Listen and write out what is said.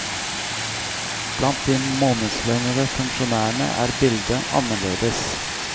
Blant de månedslønnede funksjonærene er bildet annerledes.